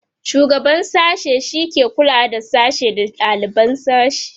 shugaban sashe shike kulawa da sashe da daliban sashe